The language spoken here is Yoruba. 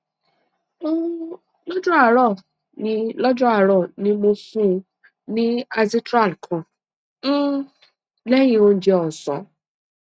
um lọjọ àárọ ni lọjọ àárọ ni mo fún un ní azithral kan um lẹyìn oúnjẹ ọsán